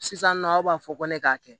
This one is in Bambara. Sisan nɔ aw b'a fɔ ko ne k'a kɛ